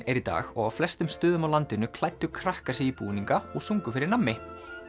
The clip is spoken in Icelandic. er í dag og á flestum stöðum á landinu klæddu krakkar sig í búninga og sungu fyrir nammi